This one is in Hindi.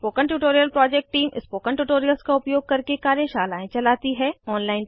spoken tutorial project team spoken tutorials का उपयोग करके कार्यशालाएं चलाती है